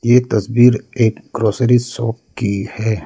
ये तस्वीर एक ग्रॉसरी शॉप की है।